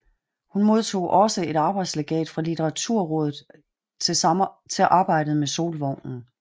Hun modtog også et arbejdslegat fra Litteraturrådet til arbejdet med Solvognen